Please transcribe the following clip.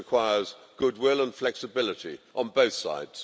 This requires goodwill and flexibility on both sides.